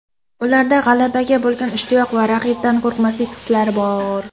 Ularda g‘alabaga bo‘lgan ishtiyoq va raqibdan qo‘rqmaslik hislari bor.